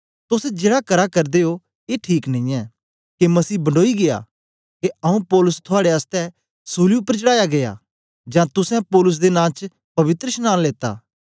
तोस जेड़ा करा करदे ओ ए ठीक नेई ऐ के मसीह बंडोई गीया के आऊँ पौलुस थुआड़े आसतै सूली उपर चढ़ाया गीया जां तुसें पौलुस दे नां च पवित्रशनांन लेता